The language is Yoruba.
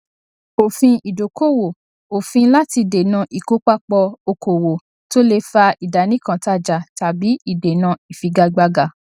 òfin ìdókòwò òfin láti dènà ìkópapọ okòwò tó lè fa ìdánìkantajà tàbí ìdènà ìfigagbága